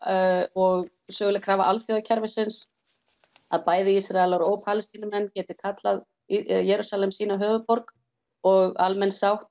og söguleg krafa alþjóðakerfisins að bæði Ísraelar og Palestínumenn geti kallað Jerúsalem sína höfuðborg og almenn sátt